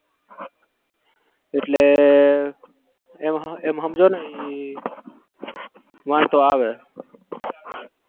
એટલે એમ એમ હમજોને વાંધો આવે